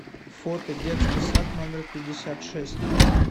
фото детский сад номер пятьдесят шесть